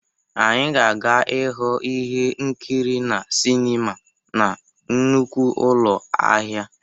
Anyị ga-aga ịhụ ihe nkiri na sinima na nnukwu ụlọ ahịa.